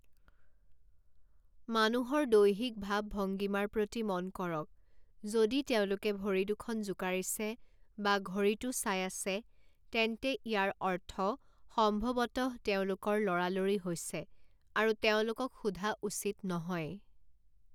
মানুহৰ দৈহিক ভাৱ-ভংগীমাৰ প্ৰতি মন কৰক যদি তেওঁলোকে ভৰি দুখন জোকাৰিছে বা ঘড়ীটো চাই আছে, তেন্তে ইয়াৰ অৰ্থ সম্ভৱতঃ তেওঁলোকৰ লৰালৰি হৈছে আৰু তেওঁলোকক সোধা উচিত নহয়।